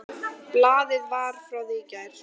Blaðið var frá því í gær.